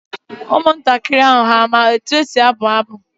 Ụmụntakịrị ahu ama ka e si abụ abụ?